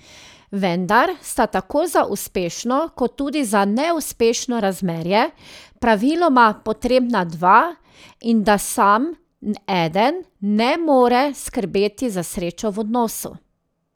Vendar sta tako za uspešno kot tudi za neuspešno razmerje praviloma potrebna dva in da sam eden ne more skrbeti za srečo v odnosu.